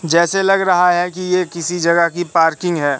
जैसे लग रहा है कि ये किसी जगह की पार्किंग है।